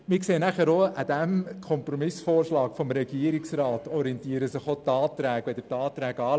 An diesem Kompromissvorschlag des Regierungsrats orientieren sich auch die Anträge.